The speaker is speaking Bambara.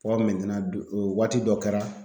fɔ waati dɔ kɛ la